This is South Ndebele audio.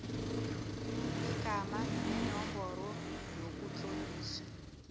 igama nenomboro yokutloliswa